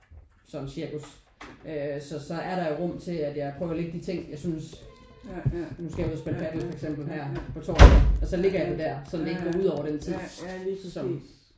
Sådan cirkus øh så så er der rum til at jeg prøver at ligge de ting jeg synes nu skal jeg ud og spille paddel for eksempel her på torsdag at så ligger jeg det der sådan at det ikke går ud over den tid som